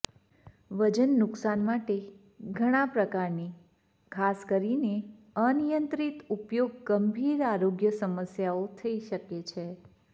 વજન નુકશાન માટે ઘણા પ્રકારની ખાસ કરીને અનિયંત્રિત ઉપયોગ ગંભીર આરોગ્ય સમસ્યાઓ થઈ શકે છે